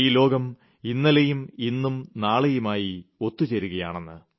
ഈ ലോകം ഇന്നലെയും ഇന്നും നാളെയുമായി ഒത്ത് ചേരുകയാണെന്ന്